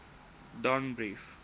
danbrief